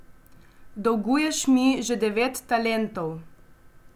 Dolguješ mi že devet talentov.